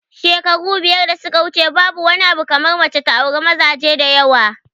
Shekaru biyar da suka wuce babu wani abu kamar mace ta auri mazaje da yawa